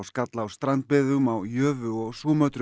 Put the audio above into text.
skall á strandbyggðum á Jövu og